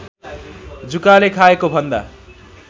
जुकाले खाएको भन्दा